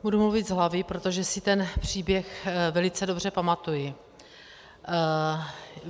Budu mluvit z hlavy, protože si ten příběh velice dobře pamatuji.